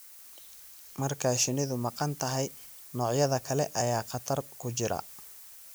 Marka shinnidu maqan tahay, noocyada kale ayaa khatar ku jira.